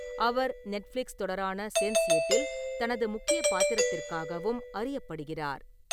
அவர் Netflix தொடரான Sense எட்டில் தனது முக்கிய பாத்திரத்திற்காகவும் அறியப்படுகிறார்.